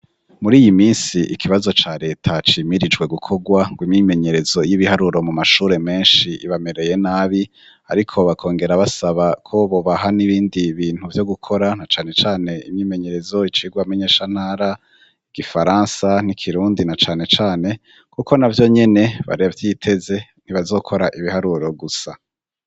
Mur'iyiminsi ikibazo ca reta cimirijwe gukorwa ngo imyimenyerezo y'ibiharuro mumashure menshi ibamereye nabi ariko bakongera basaba ko bobaha n'ibindi bintu vyo gukora nacanecane imyimenyerezo, icigwa menyeshantara, igifaransa n'ikirundi nacanecane kuko navyonyene baravyiteze ntibazokora ibiharuro gusa.